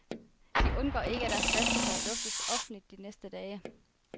De undgår ikke, at deres vasketøj luftes offentligt de næste dage.